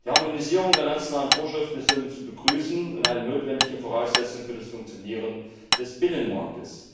Die Harmonisierung der nationalen Vorschriften ist somit zu begrüßen und eine notwendige Voraussetzung für das Funktionieren des Binnenmarkts.